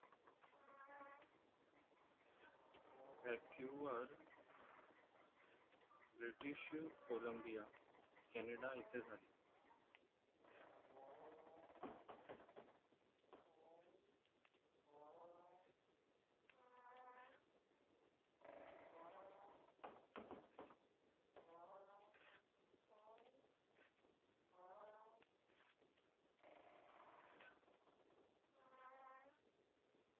Vancouver, British Columbia, Canada येथे झाले